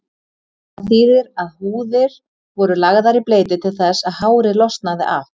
Það þýðir að húðir voru lagðar í bleyti til þess að hárið losnaði af.